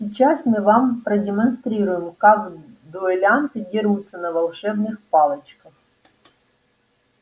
сейчас мы вам продемонстрируем как дуэлянты дерутся на волшебных палочках